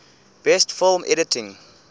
best film editing